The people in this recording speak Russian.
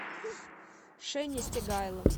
шени стегайло